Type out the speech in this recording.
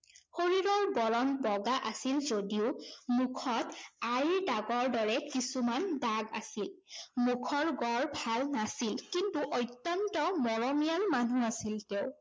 শৰীৰৰ বৰণ বগা আছিল যদিও, মুখত আইৰ দাগৰ দৰে কিছুমান দাগ আছিল। মুখৰ গঢ় ভাল নাছিল। কিন্তু অত্যন্ত মৰমীয়াল মানুহ আছিল তেওঁ।